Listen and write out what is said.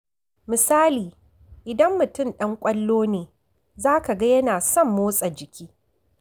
Misali, idan mutum ɗan ƙwallo ne, za ka ga yana son motsa jiki.